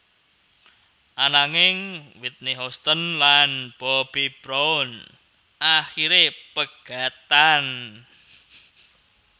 Ananging Whitney Houston lan Bobby Brown akiré pegatan